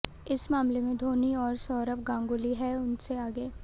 इस मामले में धोनी और सौरव गांगुली हैं उनसे आगे